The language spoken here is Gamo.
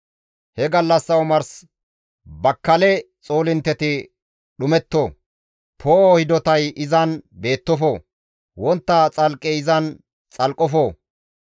He gallassa omars bakkale xoolintteti dhumetto; poo7o hidotay izan beettofo; wontta xalqqey izan xalqqofo.